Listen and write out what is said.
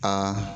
Aa